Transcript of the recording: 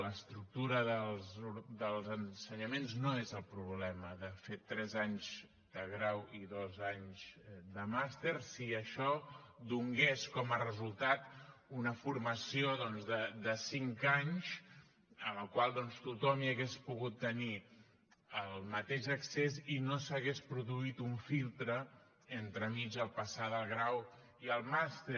l’estructura dels ensenyaments no és el problema de fet tres anys de grau i dos anys de màster si això donés com a resultat una formació doncs de cinc anys a la qual tothom hauria pogut tenir el mateix accés i no s’hagués produït un filtre entremig al passar del grau al màster